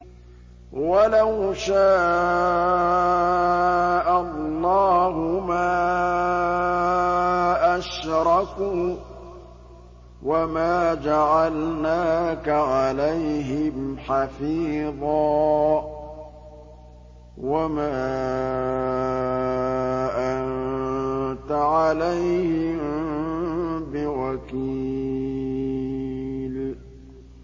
وَلَوْ شَاءَ اللَّهُ مَا أَشْرَكُوا ۗ وَمَا جَعَلْنَاكَ عَلَيْهِمْ حَفِيظًا ۖ وَمَا أَنتَ عَلَيْهِم بِوَكِيلٍ